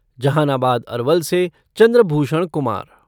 जहानाबाद अरवल से चंद्रभूषण कुमार